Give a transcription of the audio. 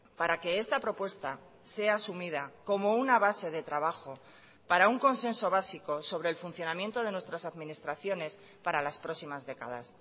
para que esta propuesta sea asumida como una base de trabajo para un consenso básico sobre el funcionamiento de nuestras administraciones para las próximas décadas